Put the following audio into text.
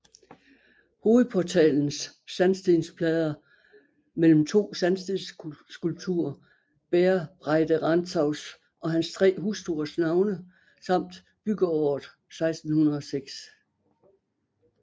Hovedportalens sandstensplader mellem to sandstensskulpturer bærer Breide Rantzaus og hans tre hustruers navne samt byggeåret 1606